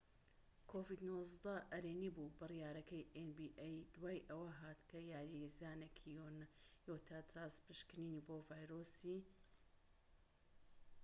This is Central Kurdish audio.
بڕیارەکەی ئێن بی ئەی دوای ئەوە هات کە یاریزانێکی یوتا جاز پشکنینی بۆ ڤایرۆسی‎ کۆڤید-19 ئەرێنی بوو‎